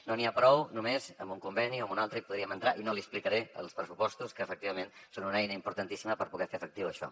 no n’hi ha prou només amb un conveni o amb un altre hi podríem entrar i no li explicaré els pressupostos que efectivament són una eina importantíssima per poder fer efectiu això